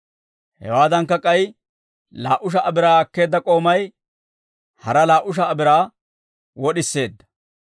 Hewaadankka, k'ay laa"u sha"a biraa akkeedda k'oomay hara laa"u sha"a biraa wod'iseedda.